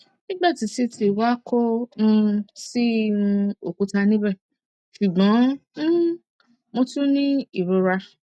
nigbati ct wa ko um si um okuta nibẹ ṣugbọn um mo tun ni irora